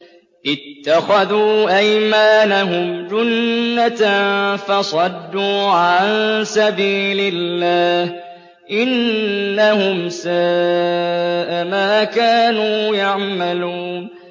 اتَّخَذُوا أَيْمَانَهُمْ جُنَّةً فَصَدُّوا عَن سَبِيلِ اللَّهِ ۚ إِنَّهُمْ سَاءَ مَا كَانُوا يَعْمَلُونَ